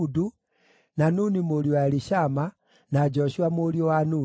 na Nuni mũriũ wa Elishama, na Joshua mũriũ wa Nuni.